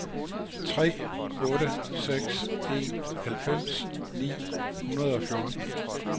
tre otte seks en halvfems ni hundrede og fjorten